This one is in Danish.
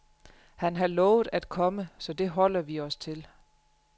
Han har lovet at komme, så det holder vi os til.